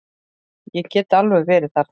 Ég get alveg verið þerna.